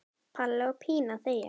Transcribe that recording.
Palli og Pína þegja.